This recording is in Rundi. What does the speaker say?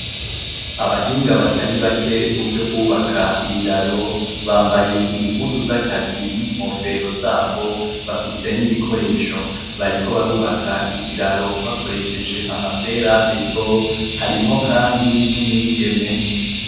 Abahinga atarinze bake muvyo kwubaka ibiraro bambaye impuzu zakazi n'inkofero zabo bafise n'ibikoresho bariko bubaka ikiraro bakoresheje ama ferabeto harimwo kandi n'umwigeme .